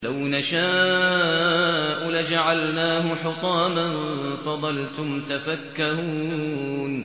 لَوْ نَشَاءُ لَجَعَلْنَاهُ حُطَامًا فَظَلْتُمْ تَفَكَّهُونَ